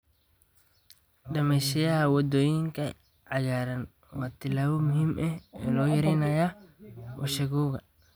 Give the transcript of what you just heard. Dhismeyaasha waddooyinka cagaaran waa tallaabo muhiim ah oo lagu yareynayo wasakhowga.